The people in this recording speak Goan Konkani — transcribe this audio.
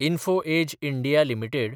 info edge (India) limited